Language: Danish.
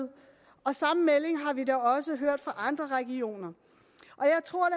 og samme melding har vi da også hørt fra andre regioner og jeg tror